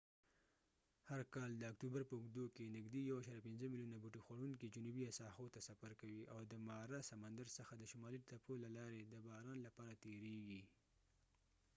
هر کالد اکتوبر په اوږدو کې نږدې 1.5 میلیونه بوټي خوړونکي جنوبي ساحو ته سفر کوي او د مارا سمندر څخه د شمالي تپو له لارې د باران لپاره تیرېږي